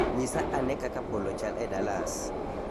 Nyisa ane kaka polo chal e dallas